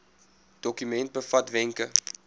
dokument bevat wenke